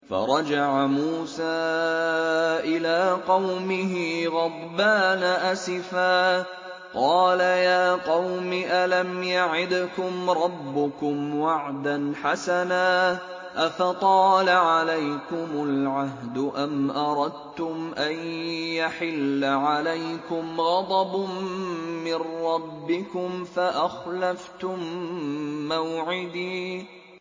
فَرَجَعَ مُوسَىٰ إِلَىٰ قَوْمِهِ غَضْبَانَ أَسِفًا ۚ قَالَ يَا قَوْمِ أَلَمْ يَعِدْكُمْ رَبُّكُمْ وَعْدًا حَسَنًا ۚ أَفَطَالَ عَلَيْكُمُ الْعَهْدُ أَمْ أَرَدتُّمْ أَن يَحِلَّ عَلَيْكُمْ غَضَبٌ مِّن رَّبِّكُمْ فَأَخْلَفْتُم مَّوْعِدِي